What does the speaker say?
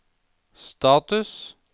status